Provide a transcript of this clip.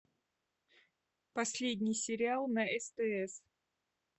последний сериал на стс